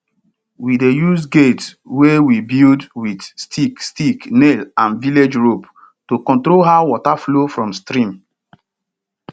we dey use gate wey we build with stick stick nail and village rope to control how water flow from stream